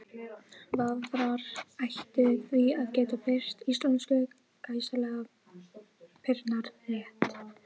Hún varð ljósmóðir og þótti farnast vel allt þar til hún missti konu af barnsförum.